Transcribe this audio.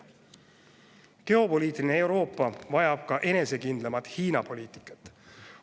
Geopoliitikast Euroopa vajab ka enesekindlamat Hiina-poliitikat.